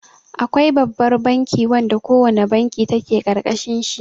Akwai Babbar banki wanda ko wane banki take ƙarƙashin shi.